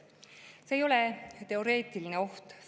See ei ole teoreetiline oht.